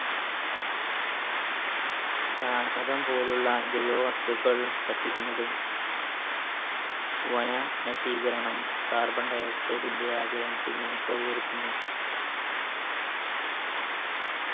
ചാണകം പോലുള്ള ജൈവവസ്തുക്കൾ കത്തിക്കുന്നത് വന നശീകരണം carbon dioxide പരത്തുന്നു